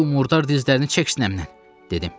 Bu murdar dizlərini çək sinəmdən, dedim.